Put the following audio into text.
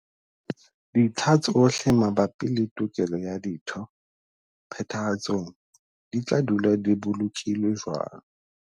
Dintlha tsohle mabapi le tokelo ya ditho Phethahatsong di tla dula di bolokilwe jwalo.